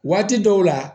Waati dɔw la